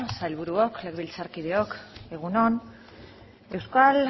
sailburuok legebiltzarkideok egun on euskal